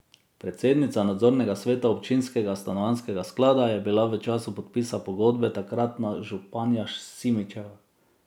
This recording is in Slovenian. Predsednica nadzornega sveta občinskega stanovanjskega sklada je bila v času podpisa pogodbe takratna županja Simšičeva.